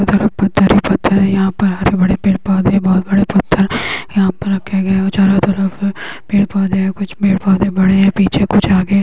चारो तरफ पत्थर ही पत्थर है यहाँ पर। हरे भरे पेड़-पौधे है बहुत बड़े पत्थर यहाँ पर रखे गए है और चारों तरफ पेड़-पौधे और कुछ पेड़-पौधे बड़े है पीछे कुछ आगे है।